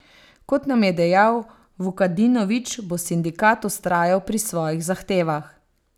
Kot nam je dejal Vukadinovič, bo sindikat vztrajal pri svojih zahtevah.